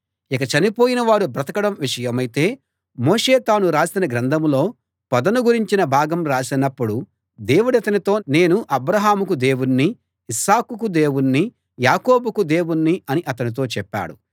ఇక చనిపోయిన వారు బ్రతకడం విషయమైతే మోషే తాను రాసిన గ్రంథంలో పొదను గురించిన భాగం రాసినప్పుడు దేవుడతనితో నేను అబ్రాహాముకు దేవుణ్ణి ఇస్సాకుకు దేవుణ్ణి యాకోబుకు దేవుణ్ణి అని అతనితో చెప్పాడు